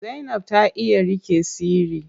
Zainab ta iya riƙe sirri.